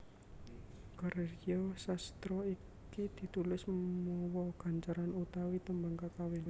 Karya sastra iki ditulis mawa gancaran utawa tembang kakawin